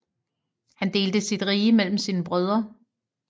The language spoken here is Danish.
Han delte sit rige mellem sine brødre